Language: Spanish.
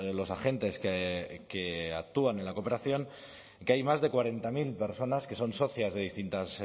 los agentes que actúan en la cooperación que hay más de cuarenta mil personas que son socias de distintas